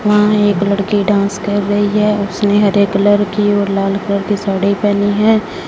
वहां एक लड़की डांस कर रही है उसने हरे कलर की और लाल कलर की साड़ी पहनी है।